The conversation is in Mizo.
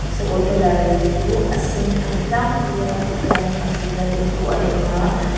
sakawr tawlailir chu a sen ani tlangpui a chuanin a thutna te chu a eng a --